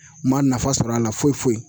Ma nafa sɔrɔ a la foyi foyi